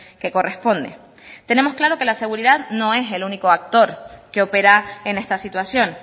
que corresponde tenemos claro que la seguridad no es el único actor que opera en esta situación